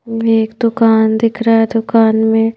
एक दुकान दिख रहा है दुकान में--